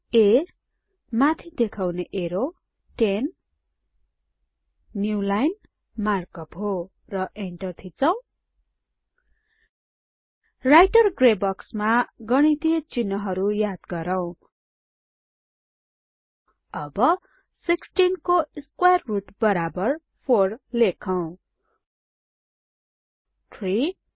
a माथि देखाउने arrow 10 new line mark up हो र इन्टर थिचौं राइटर ग्रे बक्समा गणितीय चिन्हहरु याद गरौ अब 16 को स्क्वार रुट बराबर 4 लेखौ 3